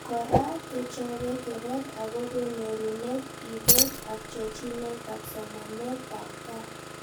Kora kechobe keret akobo nyorunet, ibet, ak chochinetab somanentab gaa